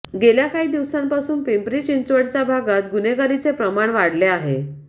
गेल्या काही दिवसांपासून पिंपरी चिंचवडच्या भागात गुन्हेगारीचे प्रमाण वाढले आहे